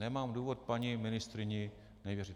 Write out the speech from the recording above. Nemám důvodu paní ministryni nevěřit.